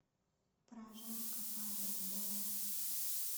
прожарка павел воля